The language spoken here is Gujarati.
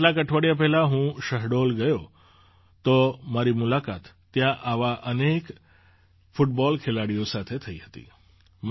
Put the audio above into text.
જ્યારે કેટલાંક અઠવાડિયાં પહેલાં હું શહડોલ ગયો હતો તો મારી મુલાકાત ત્યાં આવા અનેક ફૂટબૉલ ખેલાડીઓ સાથે થી હતી